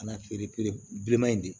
Kana feere bileman in de